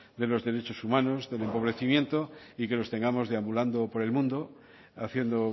de los derechos humanos del empobrecimiento y que los tengamos deambulando por el mundo haciendo